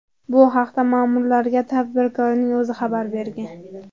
Bu haqda ma’murlarga tadbirkorning o‘zi xabar bergan.